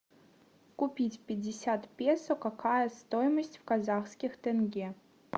купить пятьдесят песо какая стоимость в казахских тенге